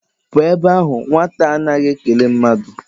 Pụọ ebe ahụ nwata a na a naghị ekele mmadụ!